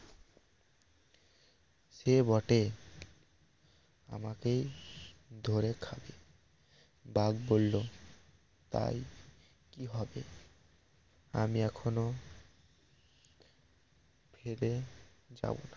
সে বটে আমাকেই ধরে খাবে বাঘ বলল তাই কি হবে আমি এখনো ফেলে যাব